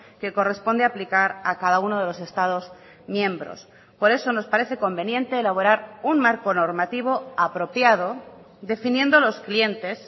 que corresponde aplicar a cada uno de los estados miembros por eso nos parece conveniente elaborar un marco normativo apropiado definiendo los clientes